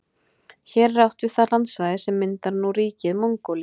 Hér er átt við það landsvæði sem myndar nú ríkið Mongólíu.